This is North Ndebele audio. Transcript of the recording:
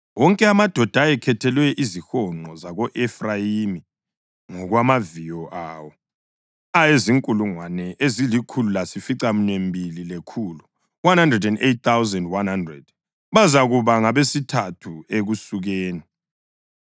Wonke amadoda ayekhethelwe izihonqo zako-Efrayimi, ngokwamaviyo awo, ayezinkulungwane ezilikhulu lasificaminwembili lekhulu (108,100). Bazakuba ngabesithathu ekusukeni.